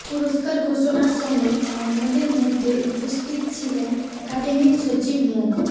পুরস্কার ঘোষণার সময় অন্যদের মধ্যে উপস্থিত ছিলেন একাডেমির সচিব মো